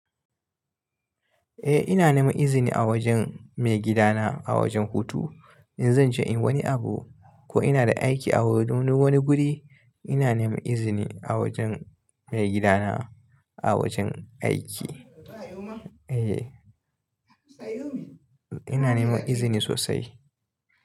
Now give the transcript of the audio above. Eh ina neman izini a wajen maigidana a wajen hutu. In zan je in yi wani abu ko ina da aiki a wani guri ina neman izini a wajen maigidana a wajen aiki. Eh ina neman izini sosai.